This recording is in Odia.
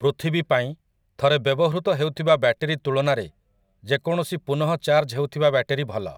ପୃଥିବୀ ପାଇଁ, ଥରେ ବ୍ୟବହୃତ ହେଉଥିବା ବ୍ୟାଟେରୀ ତୁଳନାରେ ଯେକୌଣସି ପୁନଃଚାର୍ଜ ହେଉଥିବା ବ୍ୟାଟେରୀ ଭଲ ।